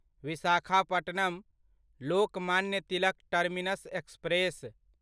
Visakhapatnam Lokmanya Tilak terminus express